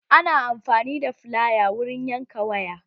Ana amfani da filaya wurin yanka waya